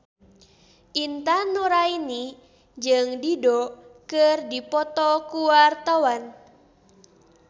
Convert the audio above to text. Intan Nuraini jeung Dido keur dipoto ku wartawan